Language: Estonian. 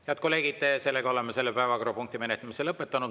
Head kolleegid, oleme selle päevakorrapunkti menetlemise lõpetanud.